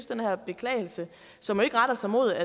den her beklagelse som jo ikke retter sig mod